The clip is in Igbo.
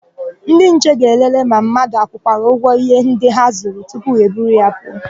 Ndịnche ga-elelee ma mmadụ akwụkwara ụgwọ íhé ndị ha zụrụ tupu ha eburu ha pụọ.